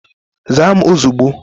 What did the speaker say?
Zaa m ozugbo